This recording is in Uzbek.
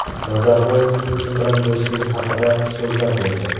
Nazarboyev Putin bilan do‘stligi haqida so‘zlab berdi.